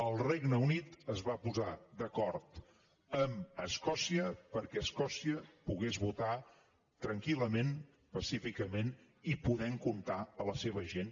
el regne unit es va posar d’acord amb escòcia perquè escòcia pogués votar tranquil·lament pacíficament i podent comptar la seva gent